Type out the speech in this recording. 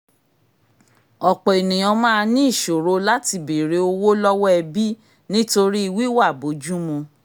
ọ̀pọ̀ ènìyàn máa ní ìṣòro láti béèrè owó lọ́wọ́ ẹbí nítorí wíwà bójú mu